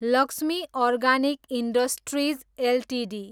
Lakshmi organic industries Ltd